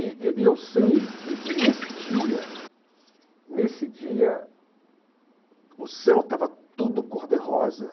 E e e eu sei que que nesse dia nesse dia, o céu estava tudo cor-de-rosa.